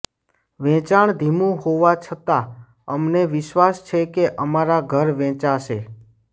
વેચાણ ધીમું હોવા છતાં અમને વિશ્વાસ છે કે અમારા ઘર વેચાશે